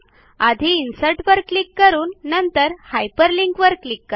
आधी इन्सर्ट वर क्लिक करून नंतर हायपरलिंक वर क्लिक करा